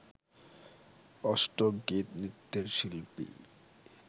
অষ্টক গীত, নৃত্যের শিল্পী